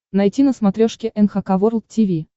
найти на смотрешке эн эйч кей волд ти ви